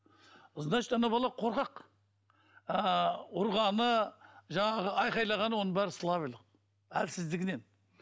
значит ана бала қорқақ ыыы ұрғаны жаңағы айқайлағаны оның бәрі слабыйлық әлсіздігінен